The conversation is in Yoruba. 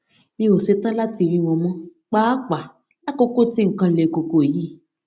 mi ò setan lati rí wọn mó pàápàá lákòókò tí nǹkan le koko yìí